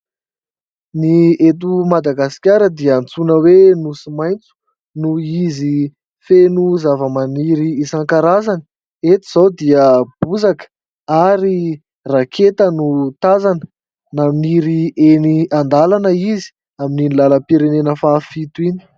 Ny eto madagasikara dia antsoina hoe nosy maitso, noho izy feno zava-maniry isankarazany, eto izao dia bozaka ary raketa no tazana naniry eny andalana izy amin'ny iny lalam-pirenena fahafito iny.